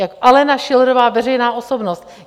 Jako Alena Schillerová, veřejná osobnost.